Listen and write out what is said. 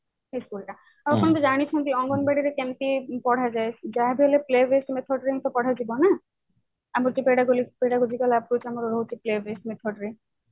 ଆଉ ସମସ୍ତେ ଜାଣିଛନ୍ତି ଅଙ୍ଗନବାଡି ରେ କେମିତି ପଢା ଯାଏ ଯାହା ବେ ହେଲେ play based method ରେ ହି ପଢା ଯିବ ନା approach ଆମର ରହୁଛି play based method ରେ